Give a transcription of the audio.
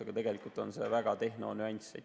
Aga tegelikult on see tehnonüanss.